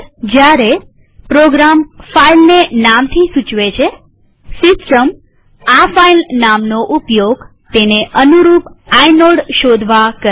જયારે પ્રોગ્રામ ફાઈલને નામથી સૂચવે છેસિસ્ટમ આ ફાઈલનામનો ઉપયોગ તેને અનુરૂપ આઇનોડ શોધવા કરે છે